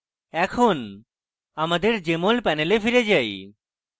এখন আমাদের jmol panel ফিরে যাই